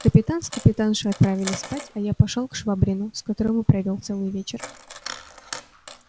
капитан с капитаншею отправились спать а я пошёл к швабрину с которым и провёл целый вечер